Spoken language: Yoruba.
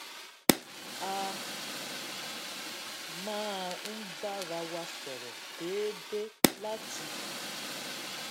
a máa ń bára wa sọrọ déédéé láti